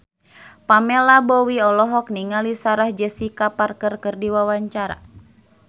Pamela Bowie olohok ningali Sarah Jessica Parker keur diwawancara